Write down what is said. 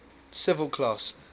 civil class